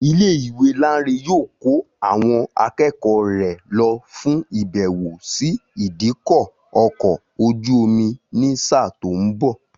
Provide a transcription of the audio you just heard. Ilé ìwé Láńre yóò kó àwọn akẹ́kọ̀ọ́ rẹ̀ lọ fún ìbẹ̀wò sí ìdíkọ̀ ọkọ̀ ojú-omi ní sáà tó ń bọ̀